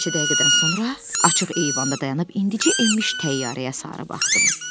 Bir neçə dəqiqədən sonra açıq eyvanda dayanıb indicə enmiş təyyarəyə sarı baxdım.